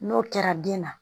N'o kɛra den na